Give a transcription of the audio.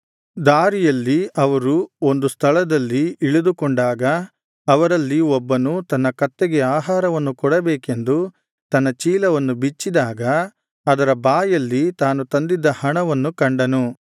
ದಾರಿಯಲ್ಲಿ ಅವರು ಒಂದು ಸ್ಥಳದಲ್ಲಿ ಇಳಿದುಕೊಂಡಾಗ ಅವರಲ್ಲಿ ಒಬ್ಬನು ತನ್ನ ಕತ್ತೆಗೆ ಆಹಾರವನ್ನು ಕೊಡಬೇಕೆಂದು ತನ್ನ ಚೀಲವನ್ನು ಬಿಚ್ಚಿದಾಗ ಅದರ ಬಾಯಲ್ಲಿ ತಾನು ತಂದಿದ್ದ ಹಣವನ್ನು ಕಂಡನು